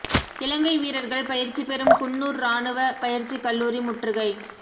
இலங்கை வீரர்கள் பயிற்சி பெறும் குன்னூர் இராணுவ பயிற்சி கல்லூரி முற்றுகை